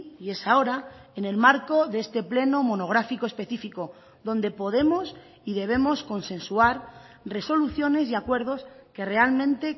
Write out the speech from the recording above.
y es ahora en el marco de este pleno monográfico específico donde podemos y debemos consensuar resoluciones y acuerdos que realmente